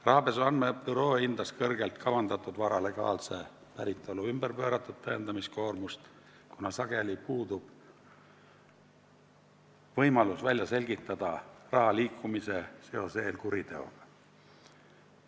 Rahapesu andmebüroo esindaja hindas kõrgelt kavandatud vara legaalse päritolu pööratud tõendamiskoormust, kuna sageli puudub võimalus raha liikumisel välja selgitada seost eelkuriteoga.